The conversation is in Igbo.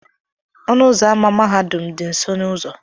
Ọnụ ụzọ ámá mahadum m dị nso n'ụzọ.